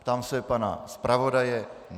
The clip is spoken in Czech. Ptám se pana zpravodaje.